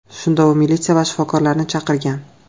Shunda u militsiya va shifokorlarni chaqirgan.